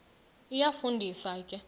iyafu ndisa ke